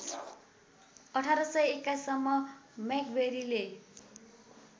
१८२१ सम्म मैक्वेरीले